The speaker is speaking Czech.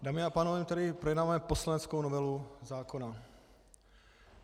Dámy a pánové, tedy projednáváme poslaneckou novelu zákona.